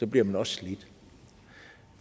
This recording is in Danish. bliver man også slidt